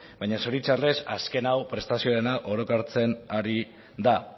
baina zoritxarrez azken hau prestazioarena ari da